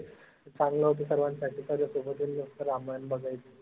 चांगलं होती सर्वांसाठी ramayan बघायची